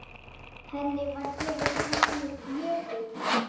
Henni var gefið nafnið Jökull.